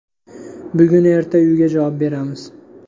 Bugun-erta uyiga javob beramiz.